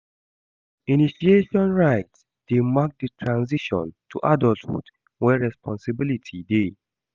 Initiation rites dey mark di transition to adulthood where responsibility dey.